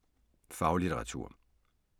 Faglitteratur